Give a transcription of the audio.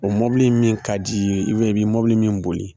O mɔbili min ka d'i ye ibiyɛn i bɛi mobili min boli